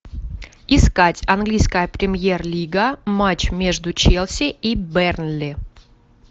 искать английская премьер лига матч между челси и бернли